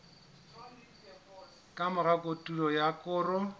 ka mora kotulo ya koro